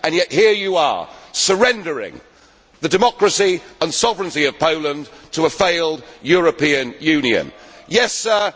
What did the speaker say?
ago. Yet here you are, surrendering the democracy and sovereignty of Poland to a failed European Union.